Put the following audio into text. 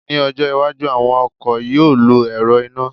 mi ọjọ iwájú, àwọn ọkọ̀ yíò lọ ẹ̀rọ iná